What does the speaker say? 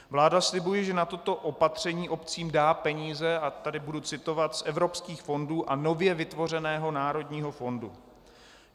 Vláda slibuje, že na toto opatření obcím dá peníze - a tady budu citovat - "z evropských fondů a nově vytvořeného národního fondu".